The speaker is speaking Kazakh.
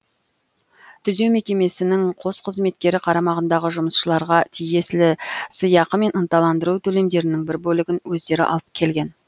түзеу мекемесінің қос қызметкері қарамағындағы жұмысшыларға тиесілі сыйақы мен ынталандыру төлемдерінің бір бөлігін өздері алып келген